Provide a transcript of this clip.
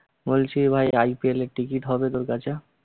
বলছি ভাই IPL এর ticket হবে তোর কাছে?